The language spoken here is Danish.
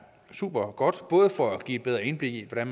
supergodt både for at give et bedre indblik i hvordan